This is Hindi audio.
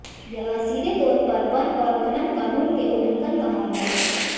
यह सीधे तौर पर वन और खनन कानून के उल्लंघन का मामला है